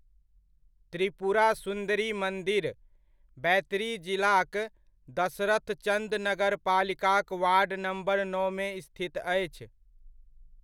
त्रिपुरा सुन्दरी मन्दिर, बैतडी जिलाक दसरथचन्द नगरपालिकाक वार्ड नम्बर नओमे स्थित अछि।